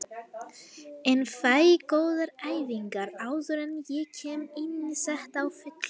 En fæ góðar æfingar áður en ég kem inní þetta á fullu.